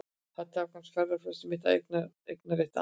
Hér takmarkast ferðafrelsi mitt af eignarétti annars.